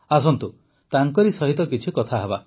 ଆସନ୍ତୁ ତାଙ୍କରି ସହିତ କିଛି କଥା ହେବା